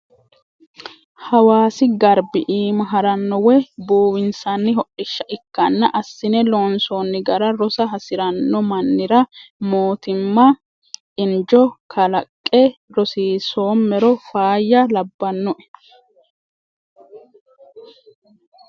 Hawaasi garbi iima harano woyi buuwinsanni hodhishsha ikkanna assine loonsonni gara rosa hasirano mannira mootimma injo kalaqe rosiisomero faayya labbanoe.